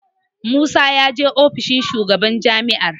Musa ya je ofishin shugaban jami'ar.